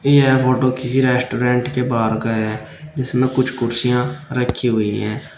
यह फोटो किसी रेस्टोरेंट के बाहर का है जिसमें कुछ कुर्सियां रखी हुई हैं।